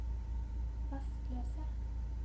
rastløse